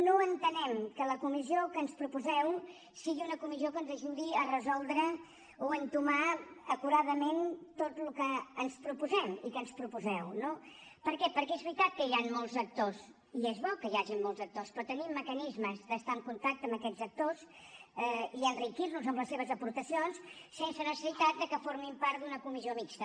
no entenem que la comissió que ens proposeu sigui una comissió que ens ajudi a resoldre o entomar acuradament tot el que ens proposem i que ens proposeu no per què perquè és veritat que hi han molts actors i és bo que hi hagin molts actors però tenim mecanismes d’estar en contacte amb aquests actors i enriquir nos amb les seves aportacions sense necessitat que formin part d’una comissió mixta